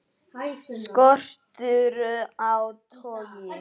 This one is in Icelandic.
Skortur á togi